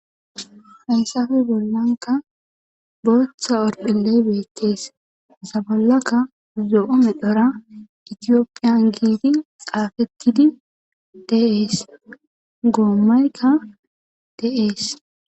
hayssafe bollanka booththa orpheley beethtees sabollakka zo7o medhora itiyoppiyan giiti xaafettidi deees goommaykka de7ees